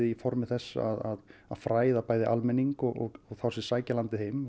í formi þess að fræða bæði almenning og þá sem sækja landið heim